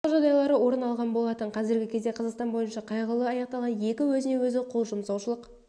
жұмсау жағдайлары орын алған болатын қазіргі кезде қазақстан бойынша қайғылы аяқталған екі өзіне-өзі қол жұмсаушылық